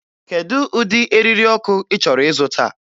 Kedu ụdị eriri ọkụ ị chọrọ ịzụta?